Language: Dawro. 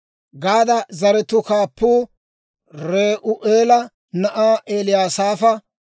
Gaada zaratuu kaappuu Re'u'eela na'aa Eliyasaafa.